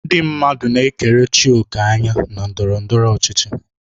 Ndị mmadụ na-ekerechi òkè anya na ndọrọ ndọrọ ọchịchị.